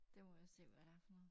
Det må jeg se hvad det er for noget